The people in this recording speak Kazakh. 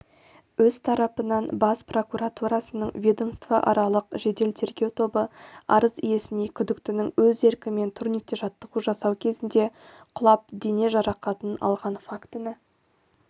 өз тарапынан бас прокуратурасының ведомствоаралық жедел-тергеу тобы арыз иесіне күдіктінің өз еркімен турникте жаттығу жасау кезінде құлап дене жарақатын алған фактіні